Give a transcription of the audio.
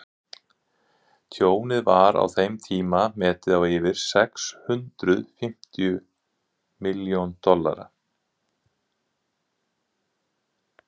tjónið var á þeim tíma metið á yfir sex hundruð fimmtíu milljón dollara